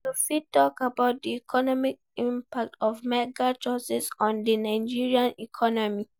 You fit talk about di economic impact of mega-churches on di Nigerian economy.